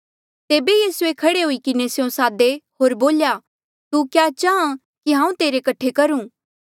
तेबे यीसूए खड़े हुई किन्हें स्यों सादे होर बोल्या तू क्या चाहां कि हांऊँ तेरे कठे करूं